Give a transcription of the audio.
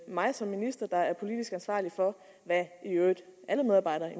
mig som minister der er politisk ansvarlig for hvad i øvrigt alle medarbejdere i